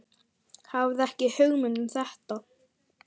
Hafði ekki hugmynd um þetta.